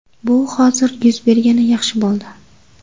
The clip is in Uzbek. Bu hozir yuz bergani yaxshi bo‘ldi.